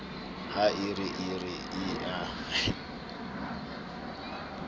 ha e re e a